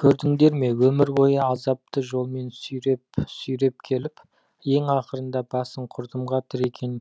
көрдіңдер ме өмір бойы азапты жолмен сүйреп сүйреп келіп ең ақырында басын құрдымға тіреген